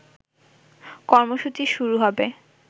কর্মসূচি শুরু হবে